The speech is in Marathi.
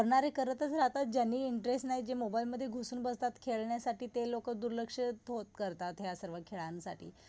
करणारे करतच राहतात ज्यांनी इंटरेस्ट नाही जे मोबाईल मध्ये घुसून बसतात खेळण्यासाठी ते लोक दुर्लक्ष हो करतात ह्या सर्व खेळांसाठी.